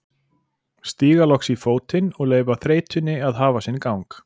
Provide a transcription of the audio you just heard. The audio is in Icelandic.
Stíga loks í fótinn og leyfa þreytunni að hafa sinn gang.